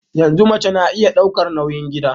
Yanzu mace na iya daukar nauyin gida